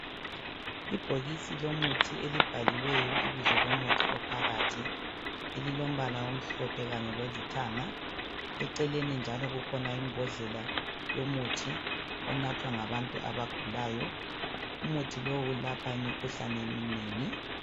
Ibhokisi lomuthi elibhaliweyo ibizo lomuthi ophakathi, elilombala omhlophe kanye lolithanga, eceleni njalo kukhona imbhodlela yomuthi onathwa ngabantu abagulayo. Umuthi lowu ulapha imikhuhlane eminengi.